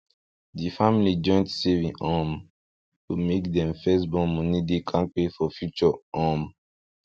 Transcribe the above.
di family joint saving um go make dem first born money dey kampe for future um